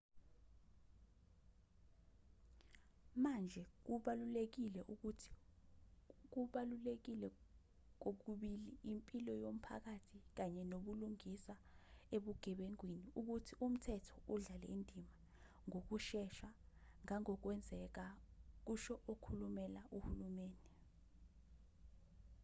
manje kubalulekile kukho kokubili impilo yomphakathi kanye nobulungisa ebugebengwini ukuthi umthetho udlale indima ngokushesha ngangokunokwenzeka kusho okhulumela uhulumeni